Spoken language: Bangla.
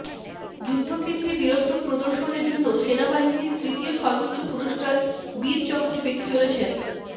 যুদ্ধক্ষেত্রে বীরত্ব প্রদর্শনের জন্যে সেনাবাহিনীর তৃতীয় সর্বোচ্চ পুরষ্কার বীরচক্র পেতে চলেছেন